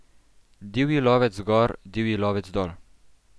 Divji lovec gor, divji lovec dol!